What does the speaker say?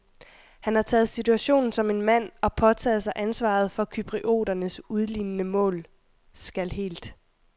Han har taget situationen som en mand og påtaget sig ansvaret for cyprioternes udlignende mål, skal helt